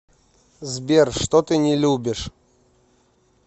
сбер что ты не любишь